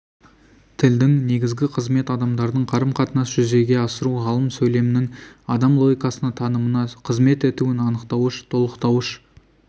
тілдің негізгі қызметі адамдардың қарым-қатынасын жүзеге асыру ғалым сөйлемнің адам логикасына танымына қызмет етуін анықтауыш толықтауыш